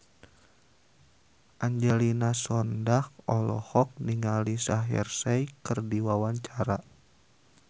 Angelina Sondakh olohok ningali Shaheer Sheikh keur diwawancara